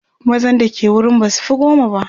mazan da ke wurin basufi goma ba